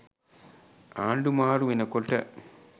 ආණ්ඩු මාරු වෙනකොට